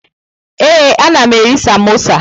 Ee, anam eri samosa.